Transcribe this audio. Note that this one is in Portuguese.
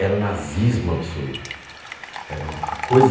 Era nazismo absoluto. Era uma a coisa